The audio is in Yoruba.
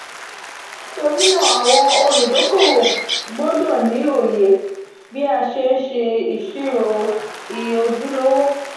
nitori naa awọn oludokowo gbọdọ ni oye bii a ṣe n ṣe iṣiro iye ojulowo.